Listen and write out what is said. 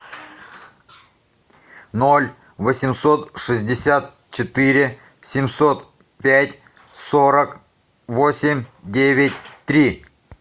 ноль восемьсот шестьдесят четыре семьсот пять сорок восемь девять три